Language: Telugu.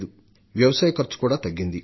శ్రామికులపై పెట్టే ఖర్చు కూడా తగ్గింది